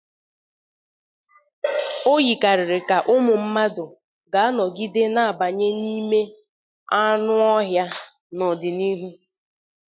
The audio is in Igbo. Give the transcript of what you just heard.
O yikarịrị ka ụmụ mmadụ ga-anọgide na-abanye n'ime anụ ọhịa n'ọdịnihu.